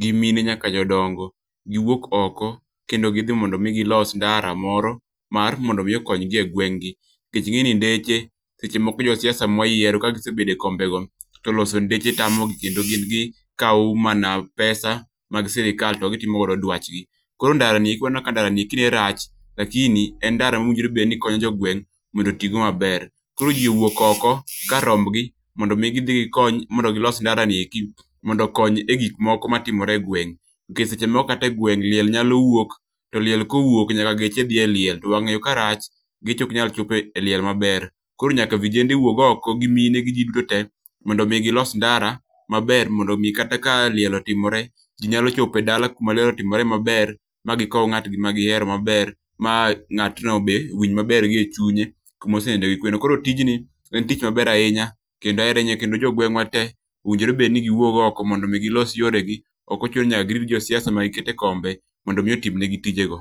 gi mine nyaka jodongo, giwuok oko kendo gidhi mondo mi gilos ndara moro mar mondo mi okonygi e gweng' gi. Kech ing'e ni ndeche, seche moko josiasa mwayiero ka gisebede kombego to loso ndeche tamo gi. Kendo gin gikawo mana pesa mag sirikal to gitimo godo dwachgi. Koro ndara nieki waneno ka ndara nieki ne rach, lakini en ndara manowinjore ni konyo jogweng', mondo otigo maber. Koro ji owuok oko kar rombgi mondo mi gidhi gikony, mondo gilos ndara nieki mondo okony e gik moko ma timore e gweng'. Nikech seche moko kategweng', liel nyalo wuok. To liel kowuok to nyaka geche dhi eliel, to wang'ayo ka rach, geche ok nyal chopo e liel maber. koro nyaka vijende wuog oko gi mine gi ji duto te, mondo mi gilos ndara maber mondo mi kata ka liel otimore, ji nyalo chopo e dala kuma liel otimore maber. Ma gikow ng'atgi ma gihero maber, ma ng'atno be winj maber gi e chunye, kuma oseninde gi kwe no. Koro tijni en tich maber ahinya, kendo ahere ahinya. Kendo jogweng'wa te, owinjo bedni giwuog oko mondo mi gilos yore gi. Ok ochuno ni nyaka girit josiasa ma gikete kombe, mondo mi otim negi tije go.